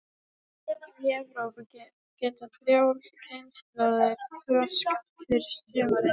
Í Evrópu geta þrjár kynslóðir þroskast yfir sumarið.